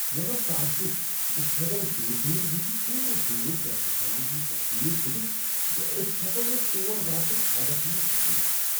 مےٚ گو تعجب زِ ہبل دوربین ہیٚکہٕ تیوٗت دور کہکشانن ہندۍ تصویر تُلِتھ ز أسۍ ہیٛکو نہٕ تور واتنُك خوابس منز تہِ سوٗچِتھ ۔